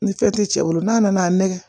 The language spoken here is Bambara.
Ni fɛn tɛ cɛ bolo n'a nana nɛgɛ